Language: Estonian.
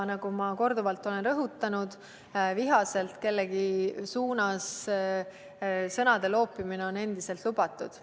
Nagu ma korduvalt olen rõhutanud, on vihaselt kellegi suunas sõnade loopimine endiselt lubatud.